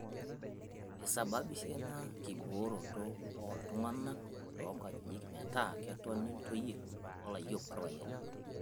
Eisababisha ina kibooroto ooltung'ana to nkajijik metaa ketoni ntoyie oo layiok orpayiani